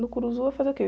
No eu fazia o quê?